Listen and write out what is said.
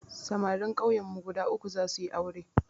Samarin kauyen mu guda uku za suyi aure